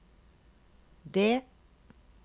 D